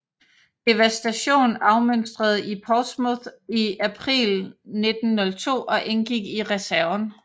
Devastation afmønstrede i Portsmouth i april 1902 og indgik i reserven